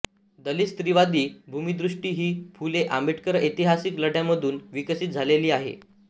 दलित स्त्रीवादी भूमिदृष्टी ही फुले आंबेडकरी ऐतिहासिक लढ्यांमधून विकसित झालेली आहे